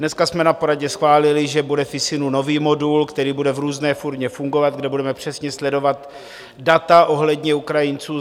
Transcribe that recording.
Dneska jsme na poradě schválili, že bude v ISIN nový modul, který bude v různé formě fungovat, kde budeme přesně sledovat data ohledně Ukrajinců.